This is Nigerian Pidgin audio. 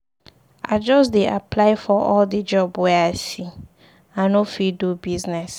I just dey apply for all di job wey I see, I no fit do business.